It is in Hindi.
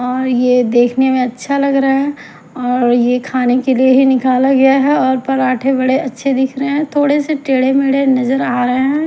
और ये देखने में अच्छा लग रहा है और यह खाने के लिए ही निकला गया है और पराठे बड़े अच्छे दिख रहे हैं थोड़े से टेढ़े मेढ़े नजर आ रहे हैं।